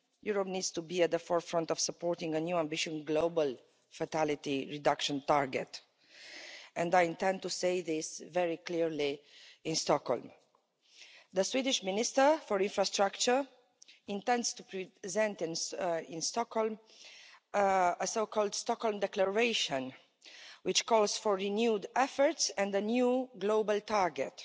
Europe needs to be at the forefront of supporting a new ambitious global fatality reduction target and I intend to say this very clearly in Stockholm. The Swedish Minister for Infrastructure intends to present in Stockholm a so called Stockholm Declaration', which calls for renewed efforts and a new global target.